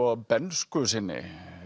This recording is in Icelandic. bernsku sinni